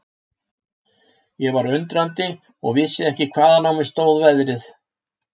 Ég var undrandi og vissi ekki hvaðan á mig stóð veðrið.